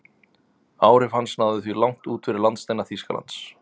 Áhrif hans náðu því langt út fyrir landsteina Þýskalands.